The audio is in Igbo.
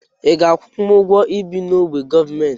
Iga akwụnwụ ụgwọ ibi n'ogbe gọọmenti?